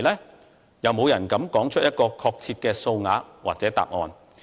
沒有人敢說出一個確切的數額或答案。